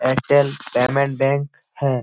Airtel payment bank है।